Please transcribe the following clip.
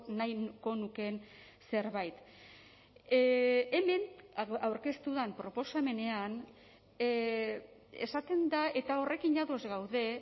nahiko nukeen zerbait hemen aurkeztu den proposamenean esaten da eta horrekin ados gaude